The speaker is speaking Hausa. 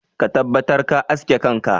Ka tabbatar ka aske kanka!